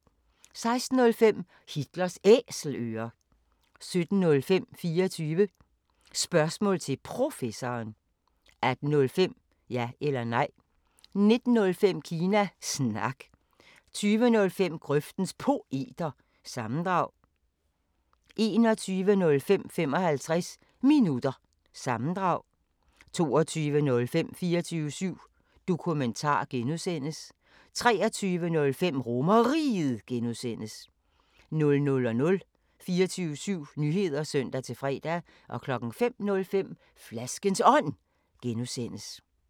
16:05: Hitlers Æselører 17:05: 24 Spørgsmål til Professoren 18:05: Ja eller Nej 19:05: Kina Snak 20:05: Grøftens Poeter – sammendrag 21:05: 55 Minutter – sammendrag 22:05: 24syv Dokumentar (G) 23:05: RomerRiget (G) 00:00: 24syv Nyheder (søn-fre) 05:05: Flaskens Ånd (G)